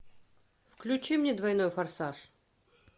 включи мне двойной форсаж